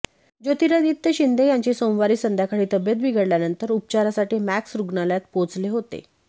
ज्योतिरादित्य शिंदे यांची सोमवारी संध्याकाळी तब्येत बिघडल्यानंतर उपचारासाठी मॅक्स रुग्णालयात पोहोचले होते